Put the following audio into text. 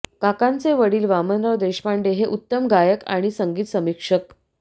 काकांचे वडील वामनराव देशपांडे हे उत्तम गायक आणि संगीत समीक्षक